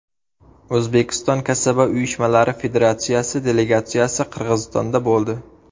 O‘zbekiston kasaba uyushmalari Federatsiyasi delegatsiyasi Qirg‘izistonda bo‘ldi.